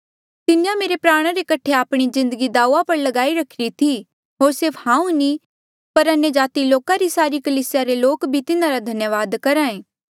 तिन्हें मेरे प्राणा रे कठे आपणी जिन्दगी दाऊआ पर ल्गाई रखिरी थी होर सिर्फ हांऊँ नी पर अन्यजाति लोका री सारी कलीसिया रे लोक भी तिन्हारा धन्यावाद करहा ऐें